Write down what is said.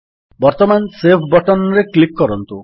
ବର୍ତ୍ତମାନ save button ରେ click କରନ୍ତୁ